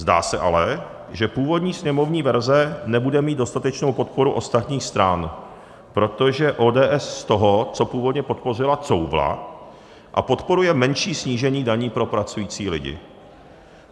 Zdá se ale, že původní sněmovní verze nebude mít dostatečnou podporu ostatních stran, protože ODS z toho, co původně podpořila, couvla a podporuje menší snížení daní pro pracující lidi.